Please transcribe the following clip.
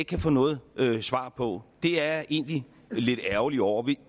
kan få noget svar på det er jeg egentlig lidt ærgerlig over